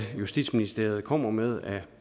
justitsministeriet kommer med af